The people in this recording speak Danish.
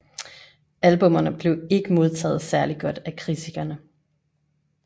Albummerne blev ikke modtaget særligt godt af kritikerne